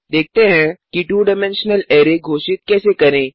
देखते हैं कि 2डाइमेंशनल अरै घोषित कैसे करें